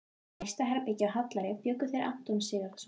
Í næsta herbergi, á Hallæri, bjuggu þeir Anton Sigurðsson